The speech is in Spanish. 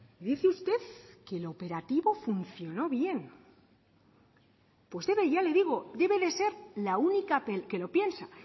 dice usted que la operativa funcionó bien usted ya le digo debe de ser la única que lo piensa